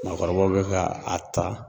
Maakɔrɔbaw bɛ ka a ta